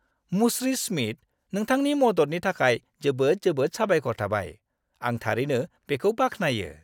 मुस्रि स्मिथ, नोंथांनि मददनि थाखाय जोबोद जोबोद साबायखर थाबाय। आं थारैनो बेखौ बाख्नायो।